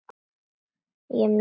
Ég er mjög ánægð.